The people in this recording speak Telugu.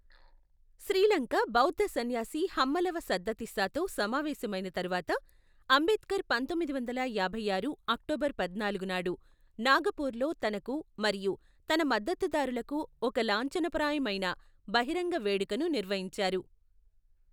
శ్రీలంక బౌద్ధ సన్యాసి హమ్మలవ సద్దతిస్సాతో సమావేశమైన తరువాత, అంబేడ్కర్ పంతొమ్మిది వందల యాభై ఆరు అక్టోబరు పద్నాలుగు నాడు నాగపూర్లో తనకు మరియు తన మద్దతుదారులకు ఒక లాంఛనప్రాయమైన బహిరంగ వేడుకను నిర్వహించారు.